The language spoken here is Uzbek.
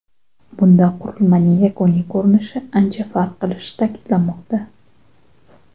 Bunda qurilmaning yakuniy ko‘rinishi ancha farq qilishi ta’kidlanmoqda.